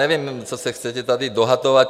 Nevím, co se chcete tady dohadovat.